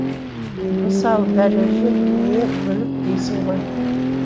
мысалы дәреже дүние мүлік дейсің ғой